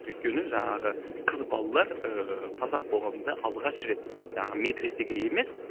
өйткені жаңағы қыз балалар ыыы қазақ қоғамында алғаш рет жаңағы медресеге емес